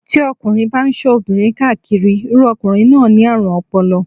Tí ọkùnrin bá ń ṣọ́ obìnrin ká káàkiri, irú ọkùnrin náà ni àrùn ọpọlọ.